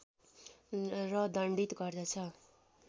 र दण्डित गर्दछ